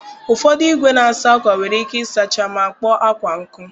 Ụfọdụ igwe na-asa akwa nwere ike ịsacha ma kpoo akwa nkụ.